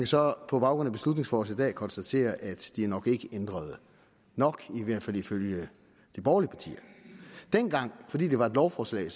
så på baggrund af beslutningsforslaget konstatere at de nok ikke ændrede nok i hvert fald ifølge de borgerlige partier dengang fordi det var et lovforslag